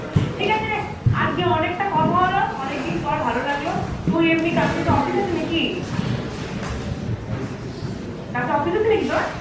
ঠিক আছে রে আজকে অনেকটা কথা হলো, অনেকদিন পর ভালো লাগলো তুই এমনি কালকে তোর office আছে নাকি? কালকে office আছে নাকি তোর?